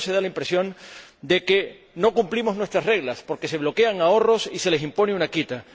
Primero se da la impresión de que no cumplimos nuestras reglas, porque se bloquean ahorros y se les impone una quita